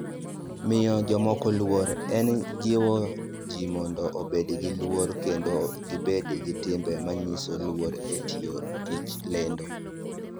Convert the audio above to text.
Miyo Jomoko Luor: En jiwo ji mondo obed gi luor kendo gibed gi timbe manyiso luor e tiyo tij lendo.